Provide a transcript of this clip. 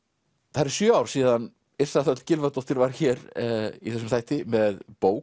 það eru sjö ár síðan Yrsa Gylfadóttir var hér í þessum þætti með bók